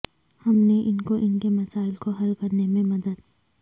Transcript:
ہم نے ان کو ان کے مسائل کو حل کرنے میں مدد